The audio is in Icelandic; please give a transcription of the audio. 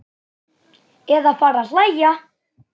Eða fara að hlæja.